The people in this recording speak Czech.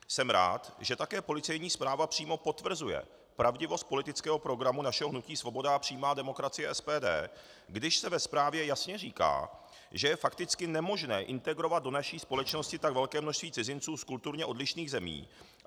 Jsem rád, že také policejní zpráva přímo potvrzuje pravdivost politického programu našeho hnutí Svoboda a přímá demokracie, SPD, když se ve zprávě jasně říká, že je fakticky nemožné integrovat do naší společnosti tak velké množství cizinců z kulturně odlišných zemí.